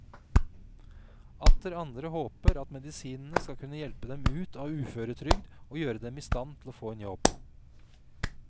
Atter andre håper at medisinene skal kunne hjelpe dem ut av uføretrygd og gjøre dem i stand til å få en jobb.